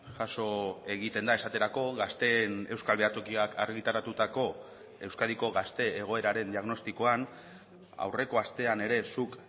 jaso egiten da esaterako gazteen euskal behatokiak argitaratutako euskadiko gazte egoeraren diagnostikoan aurreko astean ere zuk